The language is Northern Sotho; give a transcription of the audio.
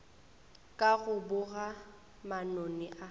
ka go boga manoni a